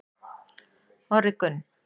Orri Gunn